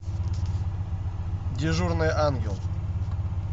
дежурный ангел